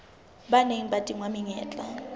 ba neng ba tingwa menyetla